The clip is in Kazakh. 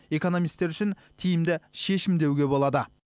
экономистер үшін тиімді шешім деуге болады